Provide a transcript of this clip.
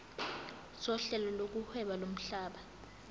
sohlelo lokuhweba lomhlaba